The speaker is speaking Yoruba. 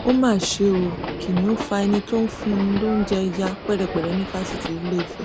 ó mà ṣe o kìnnìún fa ẹni tó ń fún un lóúnjẹ ya pẹrẹpẹrẹ ní fásitì ìlééfẹ